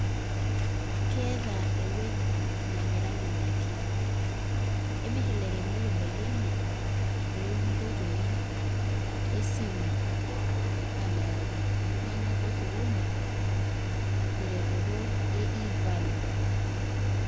Keeta ewueji namiraki ndaiki emirr ilairemok ndaiki enye toonkoitoi esimu aamiraki iltunganak losokoni teretoto e e value.